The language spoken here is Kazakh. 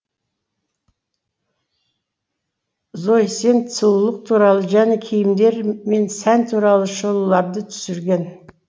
зои сен сұлыулық туралы және киімдер мен сән туралы шолуларды түсірген